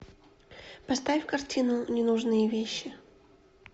поставь картину ненужные вещи